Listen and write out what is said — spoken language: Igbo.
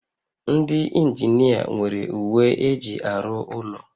Ndị injinia nwere uwe eji arụ ụlọ